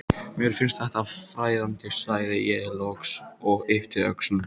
Mér finnst þetta fræðandi, sagði ég loks og yppti öxlum.